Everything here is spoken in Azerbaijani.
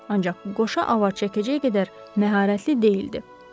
Ancaq qoşa avar çəkdiyi qədər məharətli deyildi.